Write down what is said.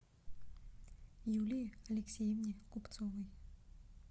юлии алексеевне купцовой